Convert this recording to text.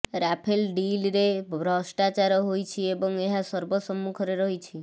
Rafale ଡିଲ୍ରେ ଭ୍ରଷ୍ଟାଚାର ହୋଇଛି ଏବଂ ଏହା ସର୍ବସମ୍ମୁଖରେ ରହିଛି